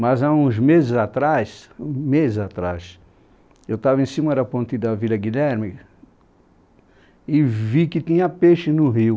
Mas há uns meses atrás, meses atrás, eu estava em cima da ponte da Vila Guilherme e vi que tinha peixe no rio.